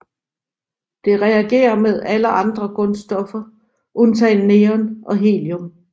Det reagerer med alle andre grundstoffer undtagen neon og helium